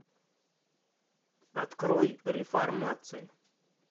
открой реформация